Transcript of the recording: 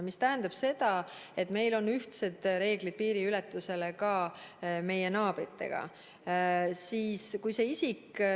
See tähendab seda, et meil on piiriületusel naabritega ühtsed reeglid.